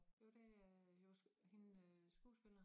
Jo det er øh jo så hende skuespiller